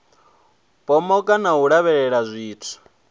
pomoka na u lavhelela zwithu